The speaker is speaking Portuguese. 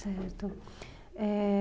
Certo. Eh...